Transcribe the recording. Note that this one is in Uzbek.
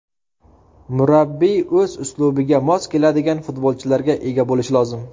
Murabbiy o‘z uslubiga mos keladigan futbolchilarga ega bo‘lishi lozim.